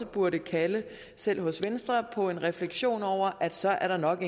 burde kalde selv hos venstre på en refleksion over at så er der nok